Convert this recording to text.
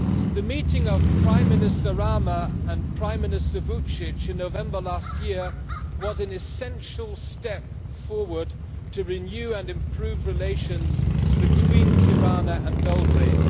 The meeting between Prime Minister Rama and Prime Minister Vučić in November last year was an essential step forward to renew and improve relations between Tirana and Belgrade.